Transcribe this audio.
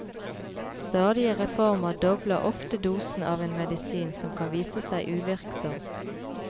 Stadige reformer dobler ofte dosen av en medisin som kan vise seg uvirksom.